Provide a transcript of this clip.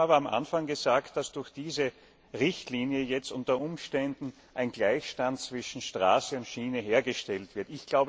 Sie haben aber anfangs gesagt, dass durch diese Richtlinie jetzt unter Umständen ein Gleichstand zwischen Straße und Schiene hergestellt wird.